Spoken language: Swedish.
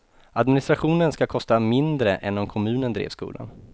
Administrationen ska kosta mindre än om kommunen drev skolan.